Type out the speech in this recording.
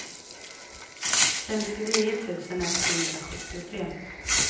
femtionio tusen etthundrasjuttiotre